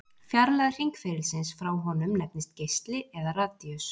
Fjarlægð hringferilsins frá honum nefnist geisli eða radíus.